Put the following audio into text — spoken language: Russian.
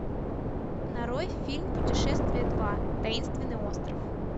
нарой фильм путешествие два таинственный остров